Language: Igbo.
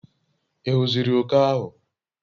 ighuziri oke ahu?